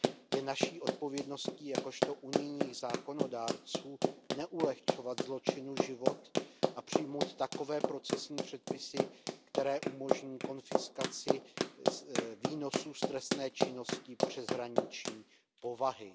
Je naší odpovědností jakožto unijních zákonodárců neulehčovat zločinu život a přijmout takové procesní předpisy, které umožní konfiskaci výnosů z trestné činnosti přeshraniční povahy.